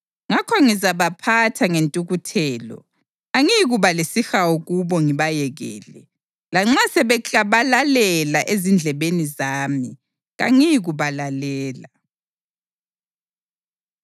Ngakho ngizabaphatha ngentukuthelo; angiyikuba lesihawu kubo ngibayekele. Lanxa sebeklabalalela ezindlebeni zami, kangiyikubalalela.”